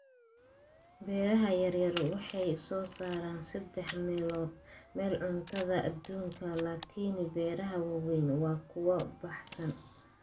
Beeraha yaryar waxay soo saaraan saddex meelood meel cuntada adduunka, laakiin beeraha waaweyni waa kuwo baahsan.